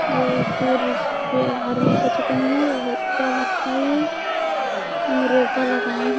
और दोरो अरामी कछु कहिये और एकटा भटाये मी रोपा लगाये हे ।